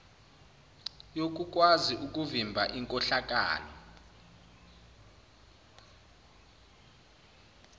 yokukwazi ukuvimba inkohlakalo